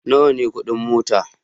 Nawa ne kudin mota?